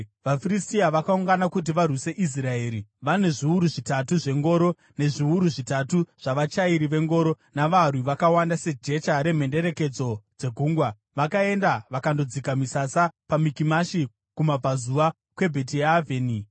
VaFiristia vakaungana kuti varwise Israeri, vane zviuru zvitatu zvengoro, nezviuru zvitatu zvavachairi vengoro, navarwi vakawanda sejecha remhenderekedzo dzegungwa. Vakaenda vakandodzika misasa paMikimashi, kumabvazuva kweBhetiavheni.